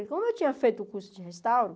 E como eu tinha feito o curso de restauro,